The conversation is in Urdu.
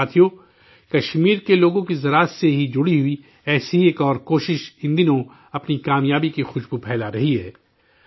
ساتھیو، کشمیر کے لوگوں کا زراعت سے ہی جڑئی ہوئی ایک اور کوشش ان دنوں اپنی کامیابی کی خوشبو پھیلا رہی ہے